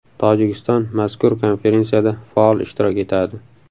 Tojikiston mazkur konferensiyada faol ishtirok etadi.